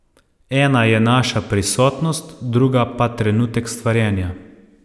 Ena je naša prisotnost, druga pa trenutek stvarjenja.